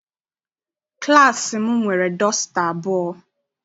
Klassi m nwere dọsta abụọ.